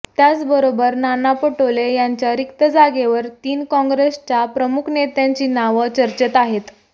त्याचबरोबर नाना पटोले यांच्या रिक्त जागेवर तीन काँग्रेसच्या प्रमुख नेत्यांची नावं चर्चेत आहेत